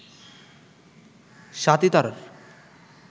স্বাতী তারার